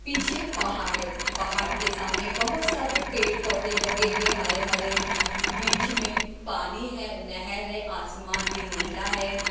पीछे पहाड़े पहाड़ के सामने बहुत सारे पेड़-पौधे लगे हुए हरे-हरे बीच में पानी है नहर है आसमान भी नीला है।